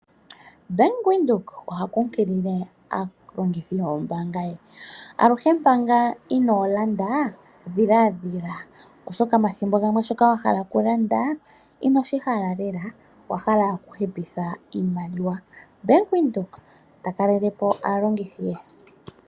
Bank Windhoek oha kunkilile aalongithi yombaanga ye, aluhe manga inoo landa dhiladhila, oshoka omathimbo gamwe shoka wa hala okulamda inoshi hala lela owa hala okuhepeka oshimaliwa. Bank Windhoek ta kalelepo aalongithi ye.